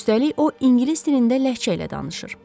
Üstəlik, o ingilis dilində ləhcə ilə danışır.